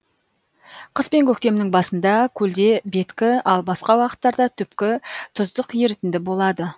қыс пен көктемнің басында көлде беткі ал басқа уақыттарда түпкі тұздық ерітінді болады